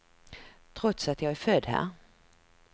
Trots att jag är född här.